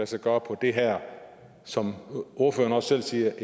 sig gøre i det her som ordføreren selv siger